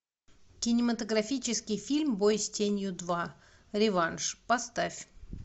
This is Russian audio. кинематографический фильм бой с тенью два реванш поставь